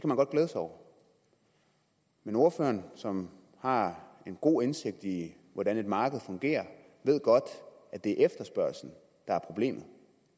man godt glæde sig over men ordføreren som har god indsigt i hvordan et marked fungerer ved godt at det er efterspørgslen der er problemet